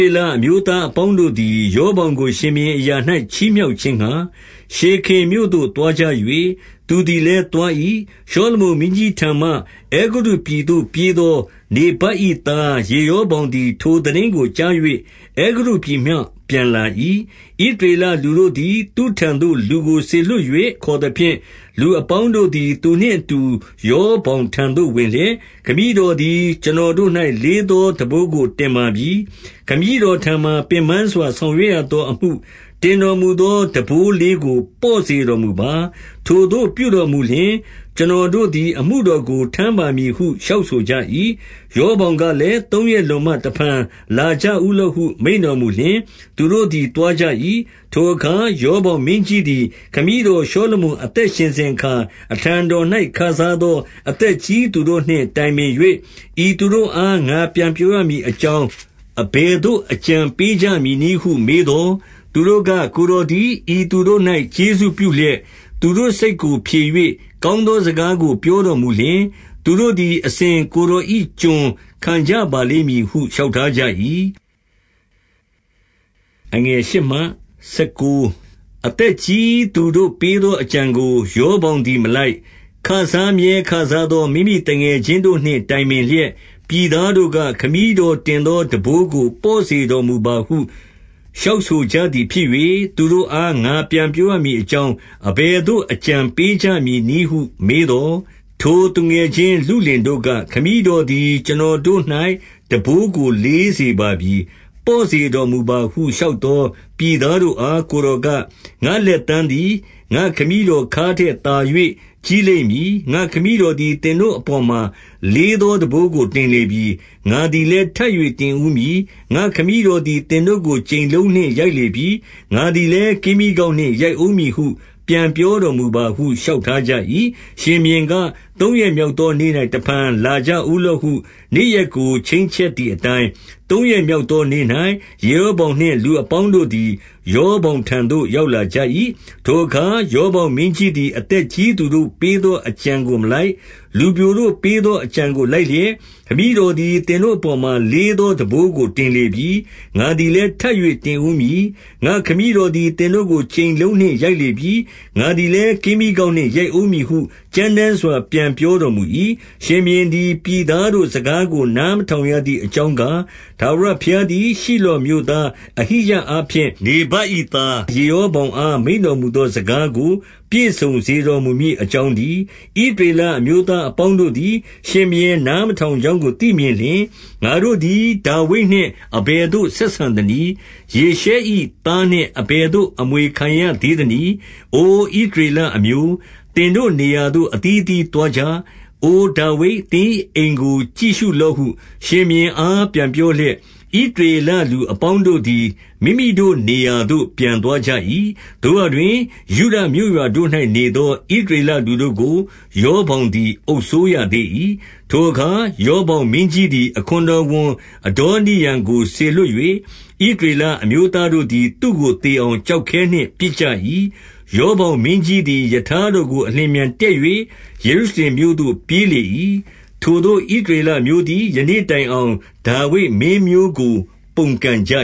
ေလအမျိုးသားအပေါင်းတို့သည် ရော ဗောင်ကို ရှင်ဘုရင်အရာ၌ ချီးမြှောက်ခြင်းငှါ ရှေခင်မြို့ သို့သွား၍၊ သူသည်လည်း သွား၏။ 2 ရှောလမုန်မင်းကြီးထံမှ၊ အဲဂုတ္တုပြည်သို့ ပြေး သောနေဗတ်၏သား ယေရောဗောင်သည်၊ ထိုသိတင်းကို ကြား၍ အဲဂုတ္တုပြည်မှ ပြန်လာ၏။ 3 ဣသရေလလူတို့သည် သူ့ထံသို့ လူကို စေလွှတ် ၍ ခေါ်သဖြင့်၊ လူအပေါင်းတို့သည် သူနှင့်အတူ ရော ဗောင်ထံသို့ဝင်လျက်၊ 4 ခမည်းတော်သည် ကျွန်တော်တို့၌ လေးသော ထမ်းဘိုးကိုတင်ပါပြီ။ ခမည်းတော်ထံမှာ ပင်ပန်းစွာ ဆောင်ရွက်ရသောအမှု၊ တင်တော်မူသော ထမ်းဘိုး လေးကို ပေါ့စေတော်မူပါ။ ထိုသို့ပြုတော်လျှင်၊ ကျွန်တော် တို့သည် အမှုတော်ကို ထမ်းပါမည်ဟု လျှောက်ဆိုကြ၏။ 5 ရောဗောင်ကလည်း၊ သုံးရက်လွန်မှ တဖန် လာကြဦးလော့ဟု မိန့်တော်မူလျှင်၊ သူတို့သည် သွားကြ၏။ 6 ထိုအခါ ရောဗောင်မင်းကြီးသည် ခမည်းတော် ရှောလမုန် အသက်ရှင်စဉ်အခါ၊ အထံတော်၌ ခစားသော အသက်ကြီးသူတို့နှင့် တိုင်ပင်၍၊ ဤသူတို့အား ငါပြန် ပြောရမည်အကြောင်း၊ အဘယ်သို့ အကြံပေးကြမည် နည်းဟု မေးသော်၊ 7 သူတို့က ကိုယ်တော်သည် ဤသူတို့၌ ကျေးဇူးပြု လျက်၊ သူတို့စိတ်ကို ဖြေ၍ကောင်းသောစကားကို ပြောတော်မူလျှင်၊ သူတို့သည် အစဉ် ကိုယ်တော်၏ကျွန်ခံ ကြပါလိမ့်မည်ဟု လျှောက်ထားကြ၏။ 8 အသက်ကြီးသူတို့ပေးသောအကြံကို ရောဗောင် သည်မလိုက်၊ ခစားမြဲခစားသောမိမိ သူငယ်ချင်းတို့နှင့် တိုင်ပင်လျက်၊ 9 ပြည်သားတို့က ခမည်းတော်တင်သော ထမ်းဘိုး ကို ပေါ့စေတော်မူပါဟု လျှောက်ဆိုကြသည် ဖြစ်၍၊ သူတို့အား ငါပြန်ပြောရမည်အကြောင်း အဘယ်သို့ အကြံပေးကြမည်နည်းဟု မေးသော်၊ 10 ထိုသူငယ်ချင်း လုလင်တို့က၊ ခမည်းတော်သည် ကျွန်တော်တို့၌ ထမ်းဘိုးကိုလေးစေပါပြီ၊ ပေါ့စေတော်မူပါ ဟု လျှောက်သောပြည်သားတို့အား ကိုယ်တော်က၊ ငါ လက်သန်းသည် ငါ့ခမည်းတော်ခါးထက်သာ၍ ကြီးလိမ့် မည်။ 11 ငါ့ခမည်းတော်သည် သင်တို့အပေါ်မှာ လေး သော ထမ်းဘိုးတို့ကို တင်လေပြီ။ ငါသည်လည်း ထပ်၍ တင်ဦးမည်။ ငါ့ခမည်းတော်သည် သင်တို့ကို ကြိမ်လုံးနှင့် ရိုက်လေပြီ။ ငါသည်လည်း ကင်းမြီးကောက်နှင့် ရိုက်ဦး မည်ဟု ပြန်ပြောတော်မူပါဟု လျှောက်ထားကြ၏။ 12 ရှင်ဘုရင်က၊ သုံးရက်မြောက်သောနေ့၌ တဖန် လာကြဦးလော့ဟု နေ့ရက်ကို ချိန်ချက်သည်အတိုင်း၊ သုံးရက်မြောက်သောနေ့၌ ယေရော ဗောင်နှင့် လူအပေါင်းတို့သည် ရောဗောင်ထံသို့ ရောက်ကြ၏။ 13 ထိုအခါ ရောဗောင်မင်းကြီးသည် အသက်ကြီး သူတို့ပေးသော အကြံကိုမလိုက်၊ လူပျိုတို့ပေးသော အကြံ ကိုလိုက်လျက်၊ 14 ခမည်းတော်သည် သင်တို့အပေါ်မှာ လေးသော ထမ်းဘိုးကိုတင်လေပြီ။ ငါသည်လည်း ထပ်၍တင်ဦးမည်။ ငါ့ခမည်းတော်သည် သင်တို့ကို ကြိမ်လုံးနှင့် ရိုက်လေပြီ။ ငါသည်လည်း ကင်းမြီးကောက်နှင့် ရိုက်ဦးမည်ဟု ကြမ်းတမ်းစွာ ပြန်ပြောတော်မူ၏။ 15 ရှင်ဘုရင်သည် ပြည်သားတို့စကားကို နား မထောင်ရသည် အကြောင်းကား၊ ထာဝရဘုရားသည် ရှိလောမြို့သား အဟိယအားဖြင့် နေဗတ်၏သား ယေရောဗောင်အား မိန့်တော်မူသော စကားကိုပြည့်စုံစေ တော်မူမည်အကြောင်းတည်း။ 16 ဣသရေလအမျိုးသား အပေါင်းတို့သည် ရှင်ဘုရင်နားမထောင်ကြောင်းကိုသိမြင်လျှင်၊ ငါတို့သည် ဒါဝိဒ်နှင့် အဘယ်သို့ ဆက်ဆံသနည်း။ ယေရှ၏သားနှင့် အဘယ်သို့အမွေခံရသေးသနည်း။ အိုဣသရေလအမျိုး၊ သင်တို့နေရာသို့ အသီးသီးသွားကြ။ အိုဒါဝိဒ်၊ သင်၏ အိမ်ကိုကြည့်ရှုလော့ဟု ရှင်ဘုရင်အား ပြန်ပြောလျက်၊ ဣသရေလလူအပေါင်းတို့သည် မိမိတို့ နေရာသို့ ပြန်သွား ကြ၏။ 17 သို့ရာတွင် ယုဒမြို့ရွာတို့၌ နေသော ဣသရေလ လူတို့ကို၊ ရောဗောင်သည် အုပ်စိုးရသေး၏။ 18 ထိုအခါ ရောဗောင်မင်းကြီးသည်၊ အခွန်တော် ဝန် အဒေါနိရံကို စေလွှတ်၍ ဣသရေလအမျိုးသားတို့ သည် သူ့ကိုသေအောင်ကျောက်ခဲနှင့် ပစ်ကြ၏။ 19 ရောဗောင်မင်းကြီးသည် ရထားတော်ကို အလျင်အမြန် တက်၍ယေရုရှင်မြို့သို့ပြေးလေ၏။ ထိုသို့ ဣသရေလအမျိုးသည် ယနေ့တိုင်အောင် ဒါဝိဒ်မင်းမျိုး ကို ပုန်ကန်ကြ